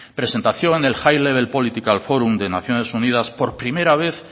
presentación high level political forum de naciones unidas por primera vez